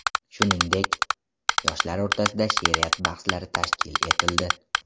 Shuningdek, yoshlar o‘rtasida she’riyat bahslari tashkil etildi.